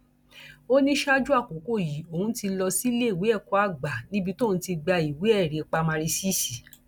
ó ní ṣáájú àkókò yìí òun ti lọ síléèwé ẹkọ àgbà níbi tóun ti gba ìwéẹrí pa mari ṣíṣí